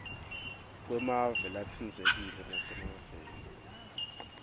kwemave latsintsekile nasemaveni